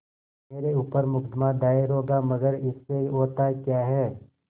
मेरे ऊपर मुकदमा दायर होगा मगर इससे होता क्या है